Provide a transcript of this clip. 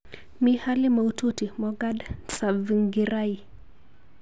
Mi hali maututi Morgan Tsvangirai